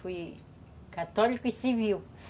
Foi católico e civil.